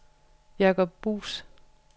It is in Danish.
Jacob Buus